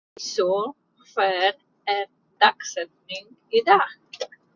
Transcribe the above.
Íssól, hver er dagsetningin í dag?